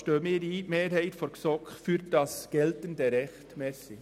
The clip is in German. Die Mehrheit der GSoK steht deshalb für das geltende Recht ein.